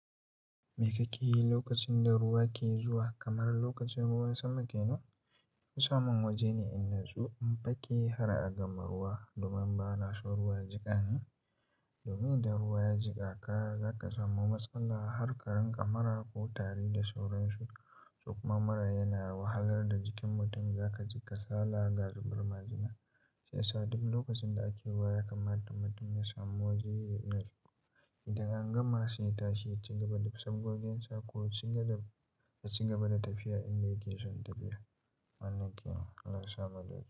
Mai ka kiyi lokacin da ruwa ke zuwa kamar lokacin ruwan sama ke nan? Ki samu waje ne in natsu in baƙi har a gama ruwa domin ba na shan ruwa ya jika ni. Domin da ruwa ya jika ka zaka samu matsala har ka rinƙa mara ko tare da sauransu. Sokuma mura yana wahalar da jikin mutum. Zaka ji kasala ga zubarmajina. Sai sa duk lokacin da ake ruwa ya kamata mutum ya samu waje ya yi natsu. Idan an gama sai yatashi ya cigaba da saf gogen sa ko cigaba da tafiya in dai yake son tafiya. Wannan kenan Allah yasa mu dace.